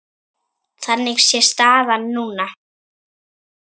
Þannig sé staðan núna.